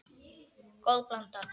Góð blanda.